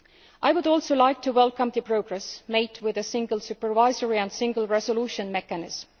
I would also like to welcome the progress made with the Single Supervisory and Single Resolution Mechanisms.